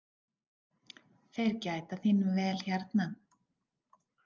Þeir gæta þín vel hérna.